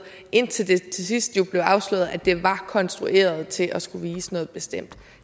indtil det til sidst blev afsløret at det var konstrueret til at skulle vise noget bestemt